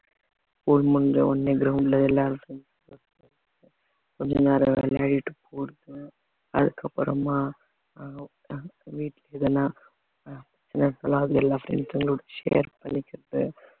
school முடிச்சவுடனே ground ல விளையாடுறது கொஞ்ச நேரம் விளையாடிட்டு போறது அதுக்கப்புறமா எல்லா friends களோட share பண்ணிக்கிறது